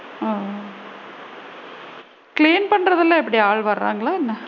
ஓ! clean பண்றதுலா எப்படி ஆள் வராங்கள என்ன?